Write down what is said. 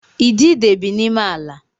Idide bi n’ime ala